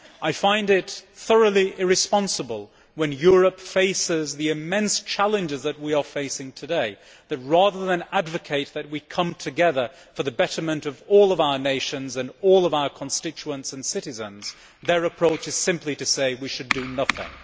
I find it thoroughly irresponsible when Europe faces the immense challenges that we are facing today that, rather than advocate that we come together for the betterment of all our nations and all our constituents and citizens, their approach is simply to say we should do nothing.